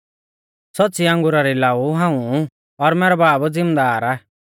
सौच़्च़ी अंगुरा री लाऊ हाऊं आ और मैरौ बाब ज़िमदार आ